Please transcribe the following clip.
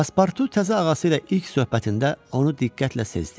Paspurtu təzə ağası ilə ilk söhbətində onu diqqətlə sezdi.